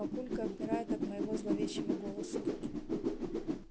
папулька обмирает от моего зловещего голоса